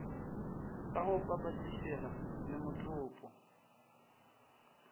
sa go papetlišega le motopo